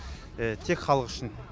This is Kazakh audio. тек халық үшін